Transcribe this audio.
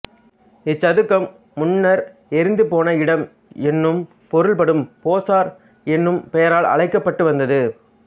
இச் சதுக்கம் முன்னர் எரிந்துபோன இடம் என்னும் பொருள்படும் போசார் என்னும் பெயரால் அழைக்கப்பட்டு வந்தது